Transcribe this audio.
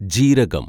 ജീരകം